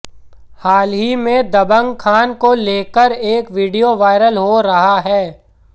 हाल ही में दबंग खान को लेकर एक विडियो वायरल हो रहा है